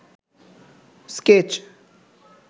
sketch